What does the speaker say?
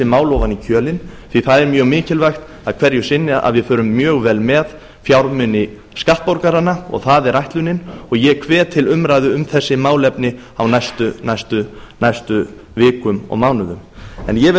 mál ofan í kjölinn því að það er mjög mikilvægt að hverju sinni förum við mjög vel með fjármuni skattborgaranna og það er ætlunin og ég hvet til umræðu um þessi málefni á næstu vikum og mánuðum ég vil